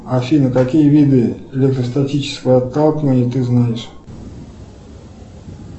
афина какие виды электростатического отталкивания ты знаешь